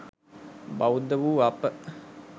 බෞද්ධ වූ අප